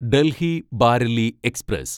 Delhi Bareilly express